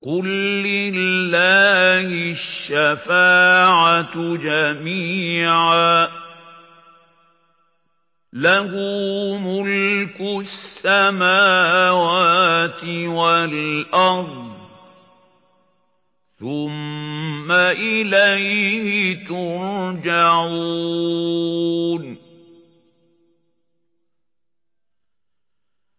قُل لِّلَّهِ الشَّفَاعَةُ جَمِيعًا ۖ لَّهُ مُلْكُ السَّمَاوَاتِ وَالْأَرْضِ ۖ ثُمَّ إِلَيْهِ تُرْجَعُونَ